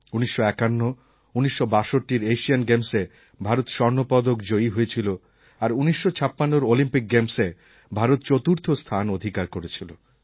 ১৯৫১ ১৯৬২র এশিয়ান গেমসে ভারত স্বর্ণপদক জয়ী হয়েছিল আর ১৯৫৬র অলিম্পিক গেমসে ভারত চতুর্থ স্থান অধিকার করেছিল